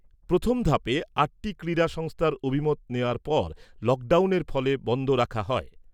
প্রথম ধাপে আটটি ক্রীড়া সংস্থার অভিমত নেওয়ার পর লকডাউনের ফলে বন্ধ রাখা হয়।